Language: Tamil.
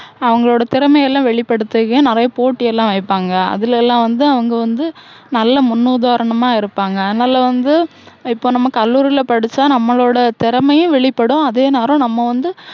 அவங்களோட திறமை எல்லாம் வெளிப்படுதுறதுக்கு நிறைய போட்டி எல்லாம் வைப்பாங்க. அதுல எல்லாம் வந்து அவங்க வந்து நல்ல முன்னுதாரணமா இருப்பாங்க. அதனால வந்து இப்போ நம்ம கல்லூரில படிச்சா நம்மளோட திறமையும் வெளிப்படும். அதே நேரம் நம்ம வந்து